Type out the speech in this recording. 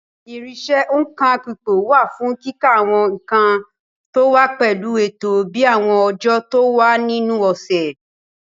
Irinṣẹ́ òǹkà ipò wà fún kíka àwọn nǹkan tó wá pẹ̀lú ètò bíi àwọn ọjọ́ tó wà nínú ọ̀sẹ̀.